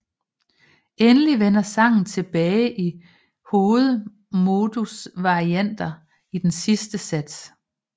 Endelig vender sangen tilbage i hovedmodusvarianter i den sidste sats